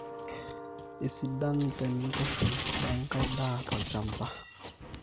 isidan teneitushule wenkai daa tolchamba KK red 16 1500 1800 2.5 8-10